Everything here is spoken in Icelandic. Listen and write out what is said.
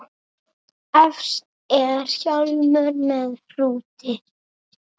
Efst er hjálmur með hrúti.